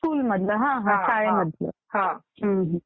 हां स्कुलमधलं शाळेमधलं